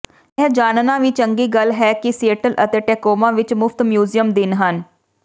ਇਹ ਜਾਣਨਾ ਵੀ ਚੰਗੀ ਗੱਲ ਹੈ ਕਿ ਸੀਏਟਲ ਅਤੇ ਟੈਕੋਮਾ ਵਿਚ ਮੁਫ਼ਤ ਮਿਊਜ਼ੀਅਮ ਦਿਨ ਹਨ